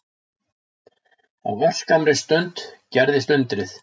Á örskammri stund gerðist undrið.